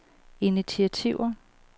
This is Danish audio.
initiativer